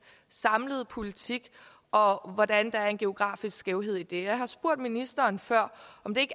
samlede politik og hvordan der er en geografisk skævhed i det og jeg har spurgt ministeren før om det